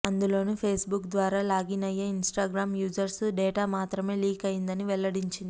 అందులోనూ ఫేస్బుక్ ద్వారా లాగిన్ అయ్యే ఇన్స్టాగ్రామ్ యూజర్స్ డేటా మాత్రమే లీక్ అయిందని వెల్లడించింది